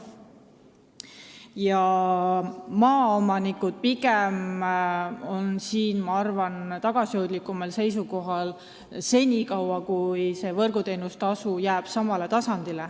Maaomanikud on minu arvates tagasihoidlikumal seisukohal, vähemalt senikaua, kui võrguteenustasu jääb samaks.